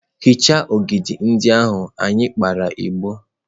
hichaa ogidi ndị ahụ anyị kpara igbo!.